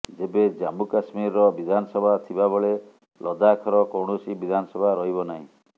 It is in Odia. ତେବେ ଜାମ୍ମୁ କାଶ୍ମୀରର ବିଧାନସଭା ଥିବା ବେଳେ ଲଦାଖର କୌଣସି ବିଧାନସଭା ରହିବ ନାହିଁ